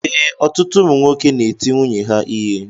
Ee, ọtụtụ ụmụ nwoke n'eti nwunye ha ihe